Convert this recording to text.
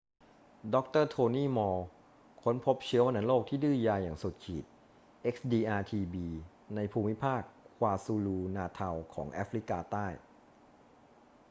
ดร. โทนี่ มอลล์ค้นพบเชื้อวัณโรคที่ดื้อยาอย่างสุดขีด xdr-tb ในภูมิภาค kwazulu-natal ของแอฟริกาใต้